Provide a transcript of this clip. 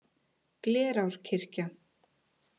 Glerárkirkja